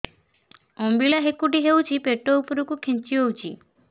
ଅମ୍ବିଳା ହେକୁଟୀ ହେଉଛି ପେଟ ଉପରକୁ ଖେଞ୍ଚି ହଉଚି